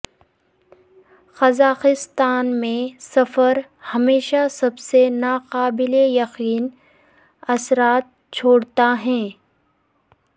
Kazakhstan میں سفر ہمیشہ سب سے ناقابل یقین اثرات چھوڑتا ہے